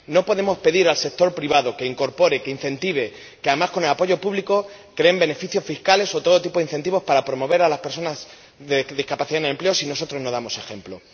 No podemos pedir al sector privado que incorpore, que incentive, que —además con el apoyo público— cree beneficios fiscales o todo tipo de incentivos para promover a las personas con discapacidad en el empleo si nosotros no damos ejemplo.